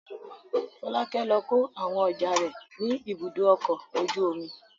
Fọlákẹ́ lọ kó àwọn ọjà rẹ̀ ní Ibùdó-ọkọ̀ ojú-omi.